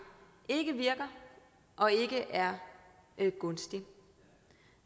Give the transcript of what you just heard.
ikke virker og ikke er gunstig